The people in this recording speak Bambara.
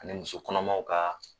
Ani muso kɔnɔmaw ka